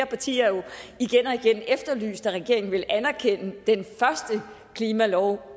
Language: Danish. partier jo igen og igen efterlyst at regeringen ville anerkende den første klimalov